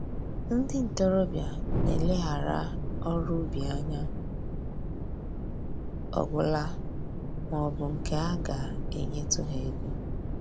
Ndị ntoroọbịa na-eleghara ọrụ ubi anya ọgwụla ma ọ bụ nke a ga-enyetụ ha ego